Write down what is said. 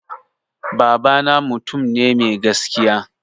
Baba na mutum ne mai gaskiya